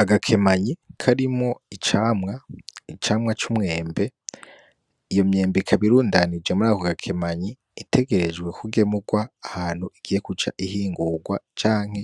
Agakemanyi karimwo icamwa, icamwa cumwembe, iyo myembe ikaba irundanije murako gakemanyi itegereje kugemurwa ahantu igiye guca ihingurwa, canke